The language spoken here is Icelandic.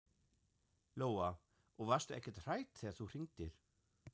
Lóa: Og varstu ekkert hrædd þegar þú hringdir?